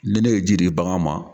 Ne ne ye ji di bagan ma